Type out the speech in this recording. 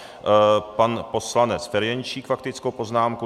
Pan poslanec Ferjenčík, faktickou poznámku.